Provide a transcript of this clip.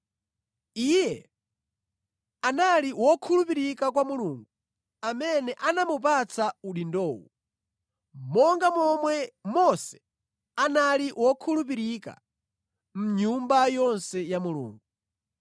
Iye anali wokhulupirika kwa Mulungu amene anamupatsa udindowo, monga momwe Mose anali wokhulupirika mʼnyumba yonse ya Mulungu.